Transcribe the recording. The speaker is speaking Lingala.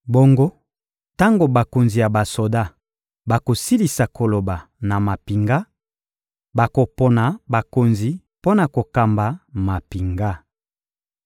Bongo tango bakonzi ya basoda bakosilisa koloba na mampinga, bakopona bakonzi mpo na kokamba mampinga.